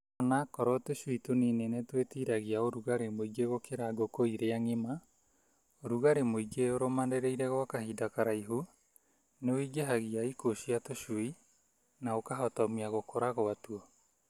Ona okorwo tũcui tũnini nĩtwĩtiragia ũrugarĩ mũingĩ gũkĩra ngũkũ iria ng'ima, ũrugarĩ mũingĩ ũrũmanĩrĩire gwa kĩhinda kĩraihu nĩũingĩhagia ikuũ cia tũcui na ũkahotomia gũkũra gwatuo.